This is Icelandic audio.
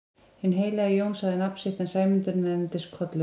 Hinn heilagi Jón sagði sitt nafn en Sæmundur nefndist Kollur.